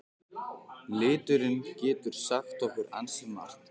Liturinn getur sagt okkur ansi margt.